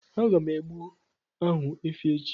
Aga m egbu ahụ efi echi